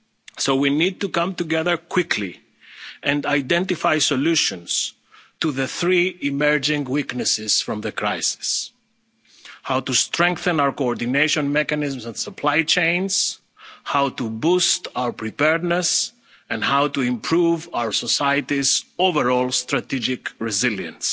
ingredients. So we need to come together quickly and identify solutions to the three emerging weaknesses from the crisis how to strengthen our coordination mechanisms and supply chains, how to boost our preparedness, and how to improve our society's overall strategic